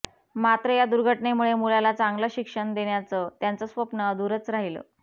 मात्र या दुर्घटनेमुळे मुलाला चांगलं शिक्षण देण्याचं त्यांचं स्वप्न अधुरचं राहिलं